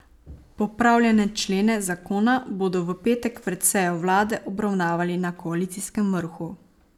Popravljene člene zakona bodo v petek pred sejo vlade obravnavali na koalicijskem vrhu.